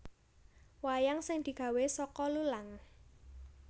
Wayang sing digawe saka lulang